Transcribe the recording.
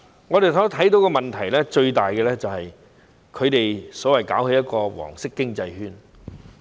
我們看到的最大問題是，他們搞一個所謂"黃色經濟圈"。